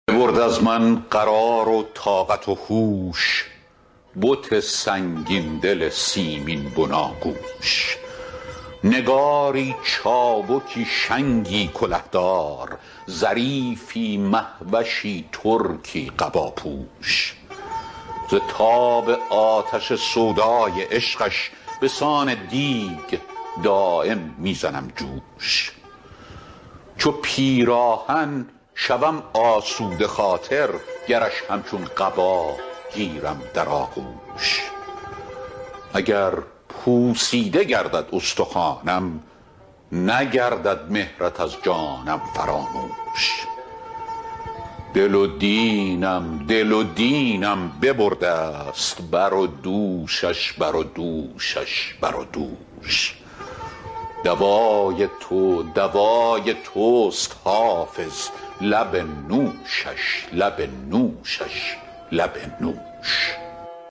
ببرد از من قرار و طاقت و هوش بت سنگین دل سیمین بناگوش نگاری چابکی شنگی کله دار ظریفی مه وشی ترکی قباپوش ز تاب آتش سودای عشقش به سان دیگ دایم می زنم جوش چو پیراهن شوم آسوده خاطر گرش همچون قبا گیرم در آغوش اگر پوسیده گردد استخوانم نگردد مهرت از جانم فراموش دل و دینم دل و دینم ببرده ست بر و دوشش بر و دوشش بر و دوش دوای تو دوای توست حافظ لب نوشش لب نوشش لب نوش